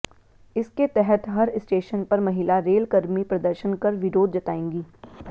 इसके तहत हर स्टेशन पर महिला रेलकर्मी प्रदर्शन कर विरोध जताएंगी